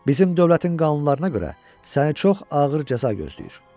Bizim dövlətin qanunlarına görə səni çox ağır cəza gözləyir.